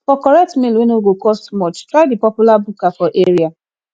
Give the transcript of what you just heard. for correct meal wey no go cost much try the popular buka for area